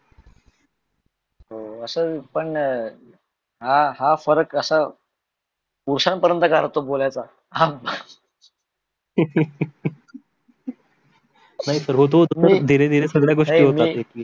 अशे पण हा हा फरक पुरुसा पर्यन्त का अर्थ बोलायचा नाही धीरे धीरे सगळ्या गोष्टी होत अशतात